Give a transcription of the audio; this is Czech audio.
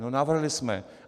No navrhli jsme.